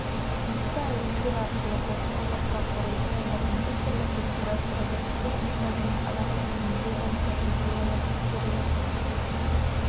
осы әлемдер арқылы қоршаған орта құрылды онда компьютерлік көзқарас робототехника және адам тілін өңдеу бойынша идеялар тексерілетін